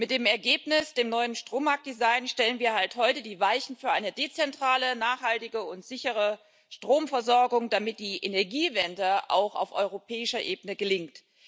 Mit dem Ergebnis, dem neuen Strommarkt Design, stellen wir heute die Weichen für eine dezentrale, nachhaltige und sichere Stromversorgung, damit die Energiewende auch auf europäischer Ebene gelingt.